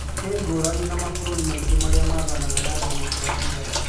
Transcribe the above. No ngũrani na mabũrũri maingĩ marĩa mathanaga na demokrasia,